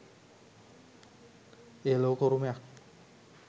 එය ලෝක උරුමයක්